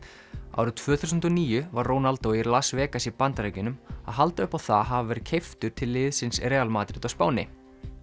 árið tvö þúsund og níu var Ronaldo í Las Vegas í Bandaríkjunum að halda upp á það að hafa verið keyptur yfir til liðsins Real Madrid á Spáni